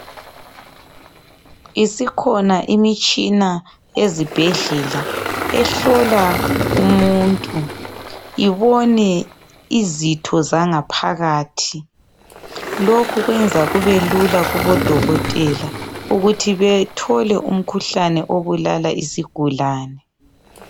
Isikhona imitshina ezibhedlela ehlola umuntu, ibone izitho zangaphakathi. Lokhu kwenza kube lula kubodokotela ukuthi bethole imkhuhlane obulala isigulani.